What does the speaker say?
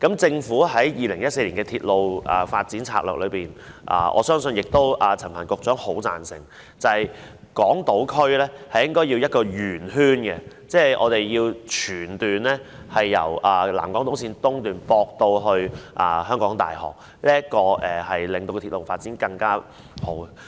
政府在2014年公布《鐵路發展策略》，我相信陳帆局長亦很贊成，港島區的鐵路線應該是一個圓形，即是全段鐵路應該由南港島綫東段接駁至香港大學，令鐵路發展更趨完善。